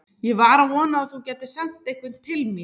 Ég var að vona að þú gætir sent einhvern til mín.